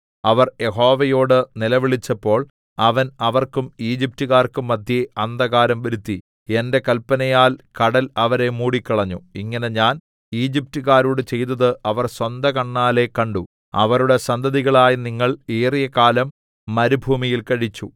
അവർ യഹോവയോട് നിലവിളിച്ചപ്പോൾ അവൻ അവർക്കും ഈജിപ്റ്റുകാർക്കും മദ്ധ്യേ അന്ധകാരം വരുത്തി എന്റെ കൽപ്പനയാൽ കടൽ അവരെ മൂടിക്കളഞ്ഞു ഇങ്ങനെ ഞാൻ ഈജിപ്റ്റുകാരോട് ചെയ്തത് അവർ സ്വന്ത കണ്ണാലെ കണ്ടു അവരുടെ സന്തതികളായ നിങ്ങൾ ഏറിയകാലം മരുഭൂമിയിൽ കഴിച്ചു